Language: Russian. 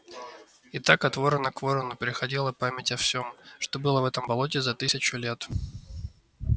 и так от ворона к ворону переходила память о всём что было в этом болоте за тысячу лет